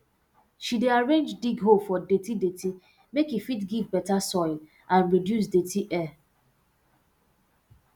she dey arrange dig hole for dirty dirty make e fit give beta soil and reduce dirty air